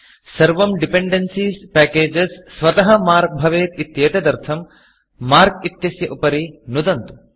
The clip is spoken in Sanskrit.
सर्वं डिपेन्डेन्सीज़ Packagesडिपेण्डेन्सीस् पेकेजस् स्वतः Markमार्क् भवेत् इत्येतदर्थं Markमार्क् इत्यस्य उपरि नुदन्तु